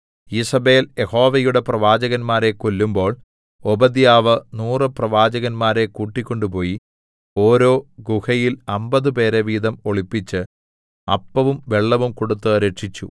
ഈസേബെൽ യഹോവയുടെ പ്രവാചകന്മാരെ കൊല്ലുമ്പോൾ ഓബദ്യാവ് നൂറു പ്രവാചകന്മാരെ കൂട്ടിക്കൊണ്ട് പോയി ഓരോ ഗുഹയിൽ അമ്പതുപേരെ വീതം ഒളിപ്പിച്ച് അപ്പവും വെള്ളവും കൊടുത്ത് രക്ഷിച്ചു